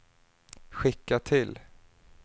skicka till